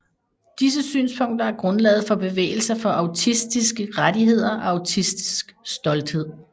Disse synspunkter er grundlaget for bevægelser for autistiske rettigheder og autistisk stolthed